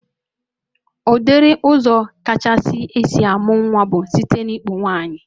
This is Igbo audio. Udiri ụzọ kachasị esi amụ nwa bụ site n'ikpu nwaanyị